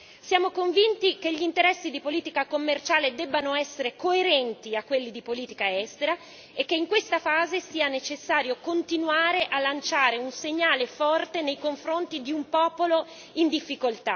Siamo convinti che gli interessi di politica commerciale debbano essere coerenti con quelli di politica estera e che in questa fase sia necessario continuare a lanciare un segnale forte nei confronti di un popolo in difficoltà.